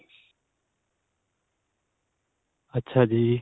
ਅੱਛਾ ਜੀ